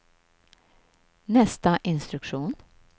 nästa instruktion